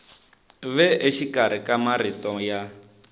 ve exikarhi ka marito ya